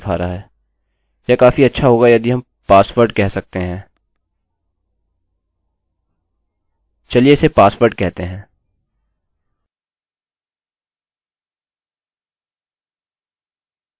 मैं यहाँ कहूँगा thanks for your password और वापस चलते है